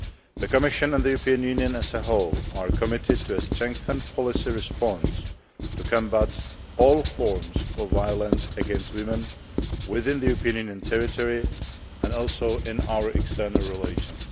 The Commission and the European Union as a whole are committed to a strengthened policy response to combat all forms of violence against women within the Union territory and in our external relations.